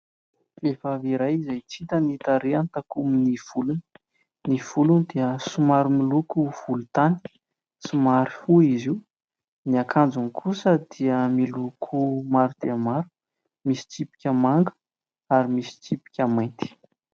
Vehivavy iray izay tsy hita ny tarehiny takonan'ny volony. Ny volony dia somary miloko volontany, somary fohy izy io. Ny akanjony kosa dia miloko maro dia maro, misy tsipika manga ary misy tsipika mainty.